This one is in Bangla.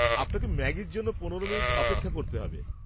আপনাকে ম্যাগির জন্য পনেরো মিনিট অপেক্ষা করতে হবে।